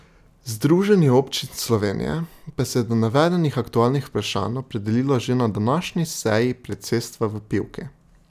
Združenje občin Slovenije pa se je do navedenih aktualnih vprašanj opredelilo že na današnji seji predsedstva v Pivki.